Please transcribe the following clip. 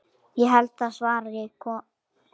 Ég held það svaraði konan.